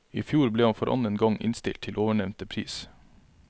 I fjor ble han for annen gang innstilt til ovennevnte pris.